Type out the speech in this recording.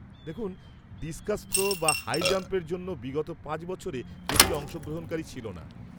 দেখুন, discus throw বা high জাম্প-এর জন্য বিগত পাঁচ বছরে বেশী অংশগ্রহণকারী ছিল না।